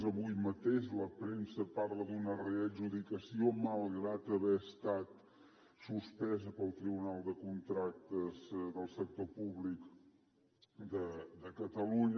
avui mateix la premsa parla d’una readjudicació malgrat haver estat suspesa pel tribunal de contractes del sector públic de catalunya